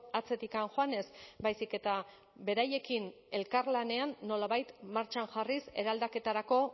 atzetik joanez baizik eta beraiekin elkarlanean nolabait martxan jarriz eraldaketarako